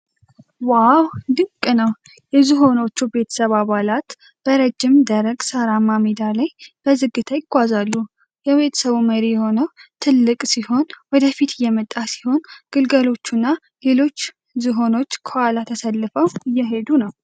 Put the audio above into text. ዋው፣ ድንቅ ነው! የዝሆኖች ቤተሰብ አባላት በረዥም ደረቅ ሳርማ ሜዳ ላይ በዝግታ ይጓዛሉ። የቤተሰቡ መሪ የሆነው ትልቅ ዝሆን ወደ ፊት እየመጣ ሲሆን፣ ግልገሎችና ሌሎች ዝሆኖች ከኋላው ተሰልፈው እየሄዱ ነው።